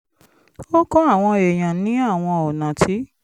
ó kọ́ àwọn èèyàn ní àwọn ọ̀nà tí